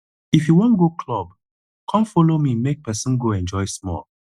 if you wan go club come follow me make person go enjoy small